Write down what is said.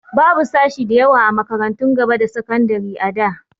Babu sashi da yawa a makarantun gaba da sakandari da.